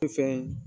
Fɛn fɛn